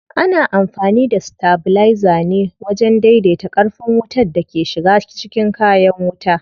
Ana amfani da stabilizer ne wajen dai dai ta ƙarfin wutan da ke shiga cikin kayan wuta.